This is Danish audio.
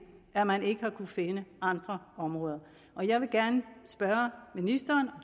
at man ikke har kunnet finde andre områder og jeg vil gerne spørge ministeren